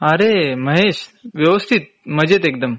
अरे महेश, व्यवस्थित मजेत एकदम